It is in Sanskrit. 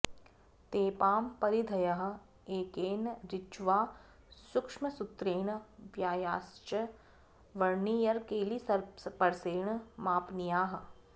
तेपां परिधयः एकेन ऋज्वा सूक्ष्मसुत्रेण व्यासाश्च वर्नियरकैलिपर्सेण मापनीयाः